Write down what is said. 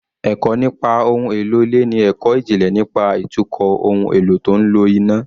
Ẹ̀kọ́ nípa ohun èlò ilé ni ẹ̀kọ́ ìjìnlẹ̀ nípa ìtukọ̀ ohun èlò tó ń lo iná